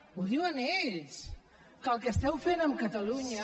ho diuen ells que el que esteu fent amb catalunya